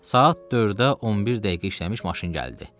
Saat 4də 11 dəqiqə işləmiş maşın gəldi.